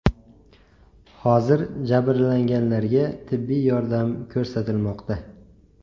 Hozir jabrlanganlarga tibbiy yordam ko‘rsatilmoqda.